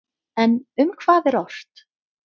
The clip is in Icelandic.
En um hvað er ort?